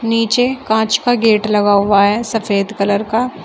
नीचे कांच का गेट लगा हुआ है सफेद कलर का।